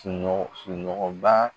Sunɔgɔ sunɔgɔba.